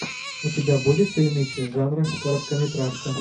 у тебя будет фильмище жанра короткометражка